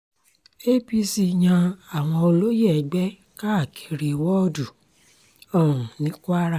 apc yan àwọn olóyè ẹgbẹ́ káàkiri wọ́ọ̀dù um ní kwara